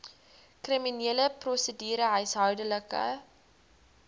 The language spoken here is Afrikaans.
kriminele prosedure huishoudelike